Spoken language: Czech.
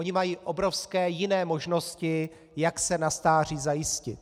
Oni mají obrovské jiné možnosti, jak se na stáří zajistit.